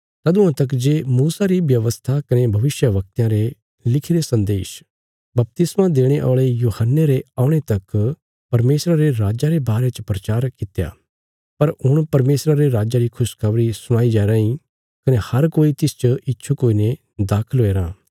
तदुआं तक जे मूसा री व्यवस्था कने भविष्यवक्तयां रे लिखिरे सन्देश बपतिस्मा देणे औल़े यूहन्ने रे औणे तक परमेशरा रे राजा रे बारे च प्रचार कित्या पर हुण परमेशरा रे राज्जा री खुशखबरी सुणाई जाया राँई कने हर कोई तिसच इच्छुक हुईने दाखल हुया राँ